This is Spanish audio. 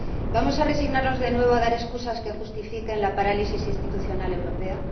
¿Vamos a resignarnos, de nuevo, a dar excusas que justifiquen la parálisis institucional europea?